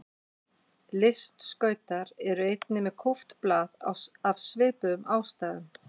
Listskautar eru einnig með kúpt blað af svipuðum ástæðum.